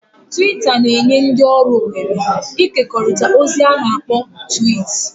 "Twiita na-enye ndị ọrụ ohere ịkekọrịta ozi a na-akpọ ""twiits"""